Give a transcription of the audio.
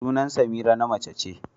Sunan Semira na mace ce.